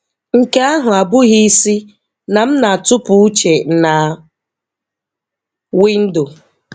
Nke ahụ abụghị ịsị na m na-atụpụ uche na windo.